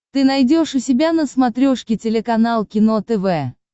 ты найдешь у себя на смотрешке телеканал кино тв